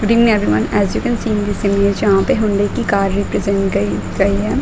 Good evening everyone as you can see this image जहां पे Hyundai की car represent गई है।